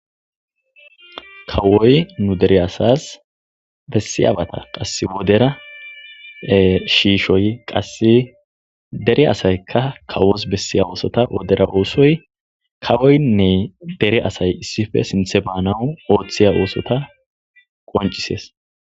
kawoy nu dere asas bessiyabata qass wodera shiishoy qasse dere asayka kawos bessiya oosota wodera oosoy kawoynne dere asay issife sinthe baanawu ooththiya oosota qoncisees.